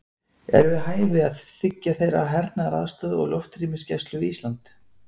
Er við hæfi að þiggja þeirra hernaðaraðstoð og loftrýmisgæslu við Ísland?